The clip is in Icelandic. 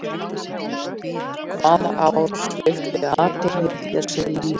Hvaða ár svipti Adolf Hitler sig lífi?